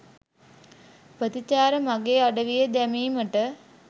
ප්‍රතිචාර මගේ අඩවියේ දැමීමට